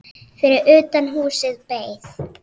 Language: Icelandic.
Fyrir utan húsið beið